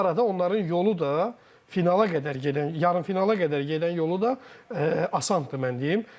Bu arada onların yolu da finala qədər gedən, yarımfinala qədər gedən yolu da asandır, mən deyim.